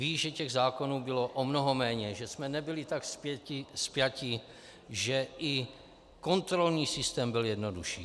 Ví, že těch zákonů bylo o mnoho méně, že jsme nebyli tak spjati, že i kontrolní systém byl jednodušší.